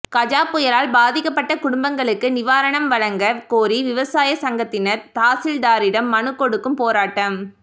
கஜா புயலால் பாதிக்கப்பட்ட குடும்பங்களுக்கு நிவாரணம் வழங்க கோரி விவசாய சங்கத்தினர் தாசில்தாரிடம் மனு கொடுக்கும் போராட்டம்